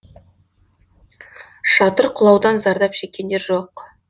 шатыр құлаудан зардап шеккендер жоқ